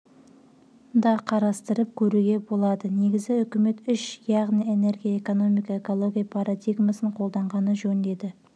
да қарастырып көруге болады негізі үкімет үш яғни энергия экономика экология парадигмасын қолданғаны жөн деді